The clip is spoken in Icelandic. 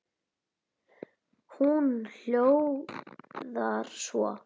Hún hljóðar svo